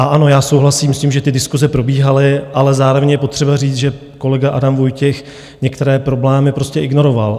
A ano, já souhlasím s tím, že ty diskuse probíhaly, ale zároveň je potřeba říct, že kolega Adam Vojtěch některé problémy prostě ignoroval.